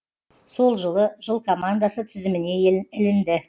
сол жылы жыл командасы тізіміне ілінді